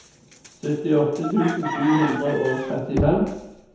syttiåtte tusen sju hundre og trettifem